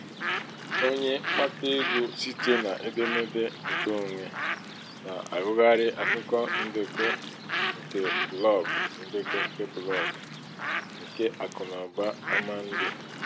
onye mkpata ego site n'edemede nke onwe na -agụghari akụkọ ndekọ nke blọgụ ndekọ nke blọgụ nke akụnaụba àmà ndị